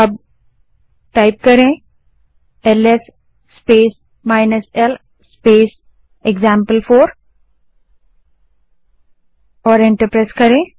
अब LS space l space example four command type करें और एंटर दबायें